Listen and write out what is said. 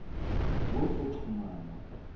wozoxhumana